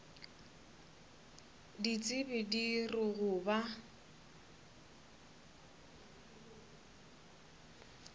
ditsebi di re go ba